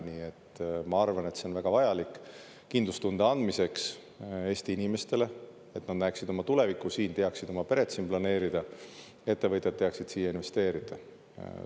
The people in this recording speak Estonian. Nii et ma arvan, et see on väga vajalik kindlustunde andmiseks Eesti inimestele, et nad näeksid oma tulevikku siin, teaksid oma peret siin planeerida, ettevõtjad teaksid siia investeerida.